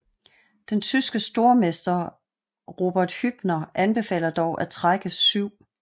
Den tyske stormester Robert Hübner anbefaler dog at trække 7